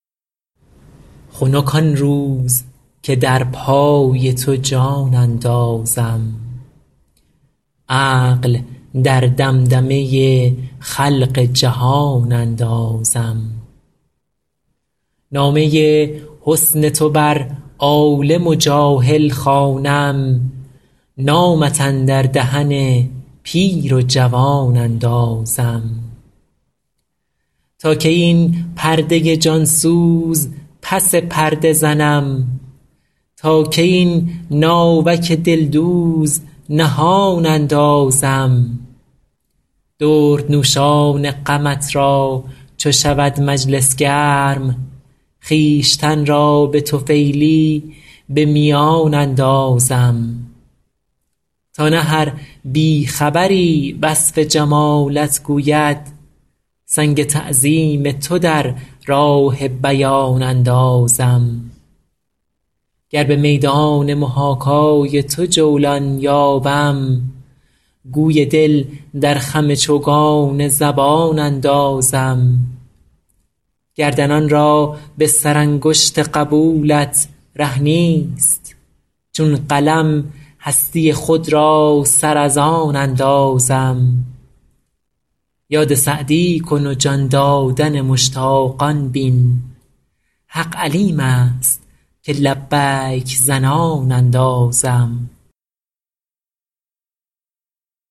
خنک آن روز که در پای تو جان اندازم عقل در دمدمه خلق جهان اندازم نامه حسن تو بر عالم و جاهل خوانم نامت اندر دهن پیر و جوان اندازم تا کی این پرده جان سوز پس پرده زنم تا کی این ناوک دلدوز نهان اندازم دردنوشان غمت را چو شود مجلس گرم خویشتن را به طفیلی به میان اندازم تا نه هر بی خبری وصف جمالت گوید سنگ تعظیم تو در راه بیان اندازم گر به میدان محاکای تو جولان یابم گوی دل در خم چوگان زبان اندازم گردنان را به سرانگشت قبولت ره نیست چون قلم هستی خود را سر از آن اندازم یاد سعدی کن و جان دادن مشتاقان بین حق علیم است که لبیک زنان اندازم